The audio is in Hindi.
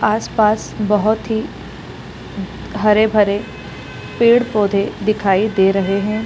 आस पास बहुत ही हरे भरे पेड़ पौधे दिखाई दे रहे हैं ।